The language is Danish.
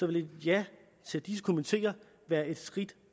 ville et ja til disse komiteer være et skridt